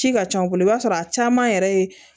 Ci ka ca u bolo i b'a sɔrɔ a caman yɛrɛ ye